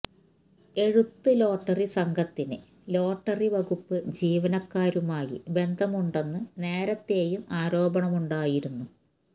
എഴുത്ത് ലോട്ടറി സംഘത്തിന് ലോട്ടറി വകുപ്പ് ജീവനക്കാരുമായി ബന്ധമുണ്ടെന്ന് നേരത്തെയും ആരോപണമുണ്ടായിരുന്നു